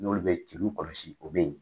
N'olu bɛ cilu kɔlɔsi olu bɛ yen.